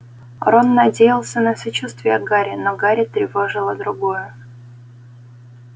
рон надеялся на сочувствие гарри но гарри тревожило другое